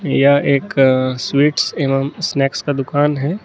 यह एक स्वीट्स एवं स्नेक्स का दुकान है।